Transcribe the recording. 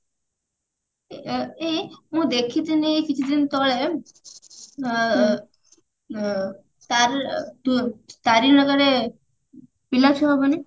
ଏଇ ମୁଁ ଦେଖିଥିନି ଏଇ କିଛିଦିନ ତଳେ ଅ ଅ ତା ଅ ତାରେଣୀର କାଳେ ପିଲାଛୁଆ ହବନି